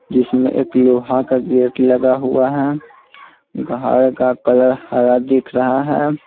जिसमें एक लोहा का गेट लगा हुआ है घर का कलर हरा दिख रहा है।